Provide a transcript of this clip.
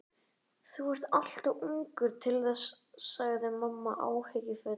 Þú ert allt of ungur til þess sagði mamma áhyggjufull.